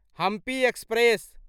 Hampi express